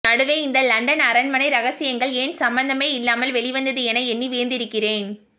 நடுவே இந்த லண்டன் அரண்மனை ரகசியங்கள் ஏன் சம்பந்தமே இல்லாமல் வெளிவந்தது என எண்ணி வியந்திருக்கிறேன்